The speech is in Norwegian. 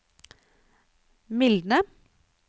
mildne